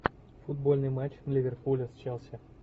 футбольный матч ливерпуля с челси